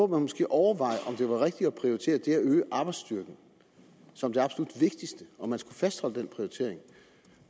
man måske overveje om det var rigtigt at prioritere det at øge arbejdsstyrken som det absolut vigtigste om man skulle fastholde den prioritering